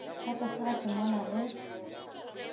ka tlase ga temana ge